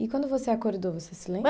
E quando você acordou, você se lembra?